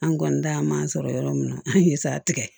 An kɔni ta man sɔrɔ yɔrɔ min na an ye sara tigɛ